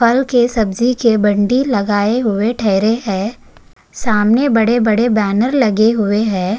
फल के सब्जी के बंडी लगाए हुए ठहरे है सामने बड़े बड़े बैनर लगे हुए है।